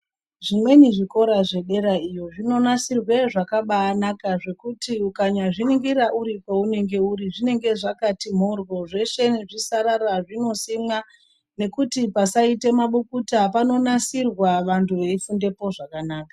Zvimweni zvikora zvedera iyo zvinonasirwa zvakabaanaka zvekuti ukanyazviningira uri kwaunenge uri zvinenge zvakati mhoryo. Zveshe nezvisarara zvinosimwa zvokuti pasaita mabukuta panonasirwa vantu veifundapo zvakanaka.